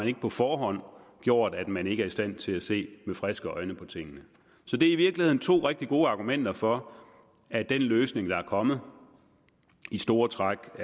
ikke på forhånd gjort at man ikke er i stand til at se med friske øjne på tingene så det er i virkeligheden to rigtig gode argumenter for at den løsning der er kommet i store træk